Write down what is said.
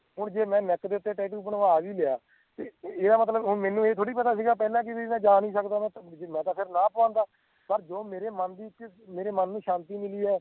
ਹੁਣ ਜੇ ਮੈਂ neck ਦੇ ਉੱਤੇ tattoo ਬਣਵਾ ਵੀ ਲਿਆ ਤੇ ਇਹ ਇਹਦਾ ਮਤਲਬ ਹੁਣ ਮੈਂਨੂੰ ਇਹ ਥੋੜਾ ਪਤਾ ਸੀਗਾ ਪਹਿਲਾਂ ਬੀ ਮੈਂ ਜਾ ਨੀ ਸਕਦਾ ਮੈਂ ਮੈਂ ਤਾਂ ਫੇਰ ਨਾ ਪਵਾਉਂਦਾ ਪਰ ਜੋ ਮੇਰੇ ਮੰਨ ਦੀ ਮੇਰੇ ਮੰਨ ਨੂੰ ਸ਼ਾਂਤੀ ਮਿਲੀ ਆ